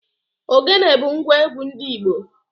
Ogene bu ngwa egwu ndi igbo.